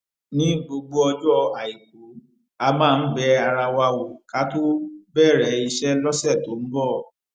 ní gbogbo ọjọ àìkú a máa ń bẹ ara wa wò ká tó bèrè iṣé lósè tó ń bò